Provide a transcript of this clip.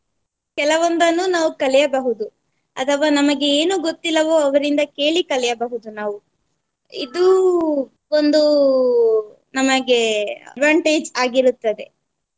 ಕೆಲವೊಂದನ್ನು ನಾವು ಕಲಿಯಬಹುದು ಅಥವಾ ನಮಗೆ ಏನು ಗೊತ್ತಿಲ್ಲವೋ ಅವರಿಂದ ಕೇಳಿ ಕಲಿಯಬಹುದು ನಾವು. ಇದು ಒಂದು ನಮಗೆ advantage ಆಗಿರುತ್ತದೆ.